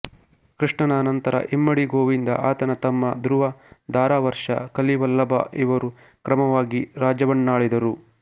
ಕೃಷ್ಣನ ಅನಂತರ ಇಮ್ಮಡಿ ಗೋವಿಂದ ಆತನ ತಮ್ಮ ಧ್ರುವಧಾರಾವರ್ಷ ಕಲಿವಲ್ಲಭ ಇವರು ಕ್ರಮವಾಗಿ ರಾಜ್ಯವನ್ನಾಳಿದರು